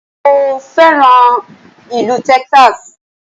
Mo fẹ́ràn ìlú Texas